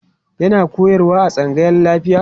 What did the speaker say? yana koyarwa a tsangayan lafiya